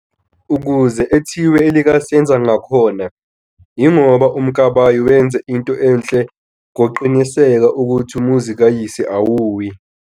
Ukuze ethiwe elika "senza ngakhona" ingoba uMkabayi wenza into enhle ngokuqiniseka ukhuthi umuzi kayise awuwi.